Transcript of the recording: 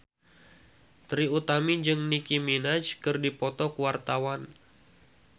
Trie Utami jeung Nicky Minaj keur dipoto ku wartawan